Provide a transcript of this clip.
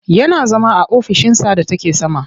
Yana zama a ofishinsa da take sama.